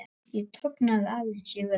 Ég tognaði aðeins í vöðva.